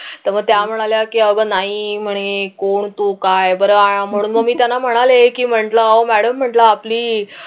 तर मग त्या म्हणे की अगं नाही म्हणे कोण तू काय म्हणून मी त्यांना म्हणाले की म्हटलं अहो मॅडम म्हटलं आपली